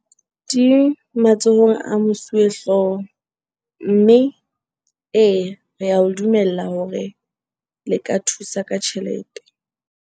Di matsohong a mosuwehlooho mme eya, re a o dumella hore le ka thusa ka tjhelete.